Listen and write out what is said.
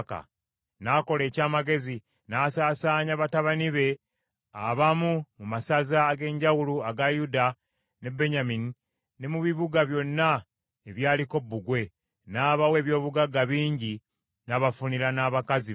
N’akola eky’amagezi, n’asaasaanya batabani be abamu mu masaza ag’enjawulo aga Yuda ne Benyamini, ne mu bibuga byonna ebyaliko bbugwe, n’abawa eby’obugagga bingi, n’abafunira n’abakazi bangi.